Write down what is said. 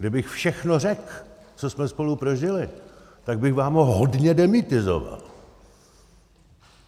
Kdybych všechno řekl, co jsme spolu prožili, tak bych vám ho hodně demytizoval.